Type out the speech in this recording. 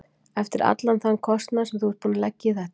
Eftir allan þann kostnað sem þú ert búinn að leggja í þetta.